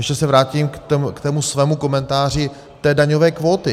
Ještě se vrátím k tomu svému komentáři té daňové kvóty.